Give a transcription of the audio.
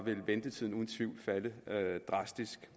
ville ventetiden uden tvivl falde drastisk